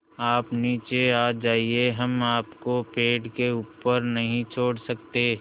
आप नीचे आ जाइये हम आपको पेड़ के ऊपर नहीं छोड़ सकते